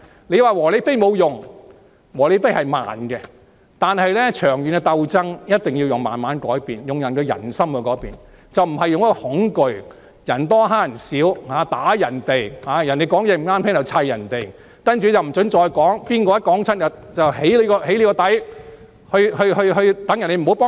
你說"和理非"沒有用，"和理非"的效果是慢的，但長遠的鬥爭一定要慢慢改變，令人心改變，而不是用恐懼、人多欺負人少、毆打別人的方法，別人持不同意見便去圍毆他們，不准他們再說下去，誰再這樣說便被"起底"，令其他人不再光顧。